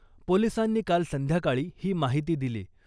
पोलीसांनी काल संध्याकाळी ही माहिती दिली .